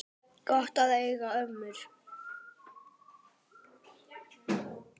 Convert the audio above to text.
Gott að eiga ömmur!